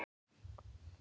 Var mamma dáin?